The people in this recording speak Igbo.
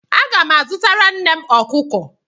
Aga m azụtara nnem ọkụkọ.